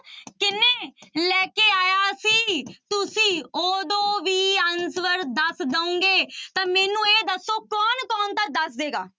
ਕਿੰਨੇ ਲੈ ਕੇ ਆਇਆ ਸੀ, ਤੁਸੀਂ ਉਦੋਂ ਵੀ answer ਦੱਸ ਦਓਂਗੇ ਤਾਂ ਮੈਨੂੰ ਇਹ ਦੱਸੋ ਕੌਣ ਕੌਣ ਤਾਂ ਦੱਸ ਦਏਗਾ।